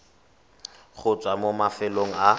go tswa mo mafelong a